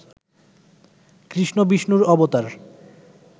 কৃষ্ণ বিষ্ণুর অবতার